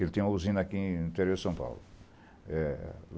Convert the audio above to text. Ele tem uma usina aqui no interior de São Paulo.